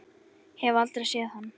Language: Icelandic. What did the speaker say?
Hef aldrei séð hann.